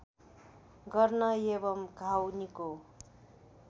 गर्न एवं घाउ निको